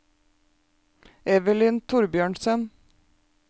Evelyn Thorbjørnsen